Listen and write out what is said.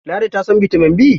Ladi ta san bitamin B?